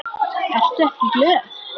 Ertu ekki glöð?